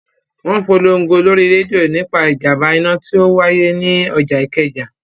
Wọn polongo lórí rédíò nípa ìjàmbá iná tí ó wáyé ni ọjà Ikeja